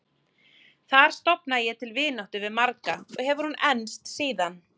Þar stofnaði ég til vináttu við marga og hefur hún enst síðan.